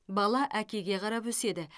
бала әкеге қарап өседі